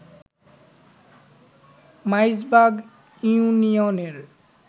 মাইজবাগ ইউনিয়নের